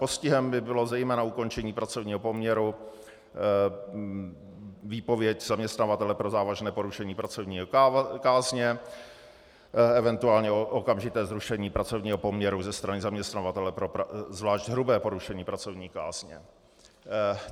Postihem by bylo zejména ukončení pracovního poměru, výpověď zaměstnavatele pro závažné porušení pracovní kázně, eventuálně okamžité zrušení pracovního poměru ze strany zaměstnavatele pro zvlášť hrubé porušení pracovní kázně."